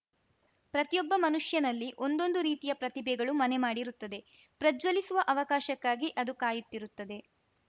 ಪ್ರತಿಯೊಬ್ಬ ಮನುಷ್ಯನಲ್ಲಿ ಒಂದೊಂದು ರೀತಿಯ ಪ್ರತಿಭೆಗಳು ಮನೆ ಮಾಡಿರುತ್ತದೆ ಪ್ರಜ್ವಲಿಸುವ ಅವಕಾಶಕ್ಕಾಗಿ ಅದು ಕಾಯುತ್ತಿರುತ್ತದೆ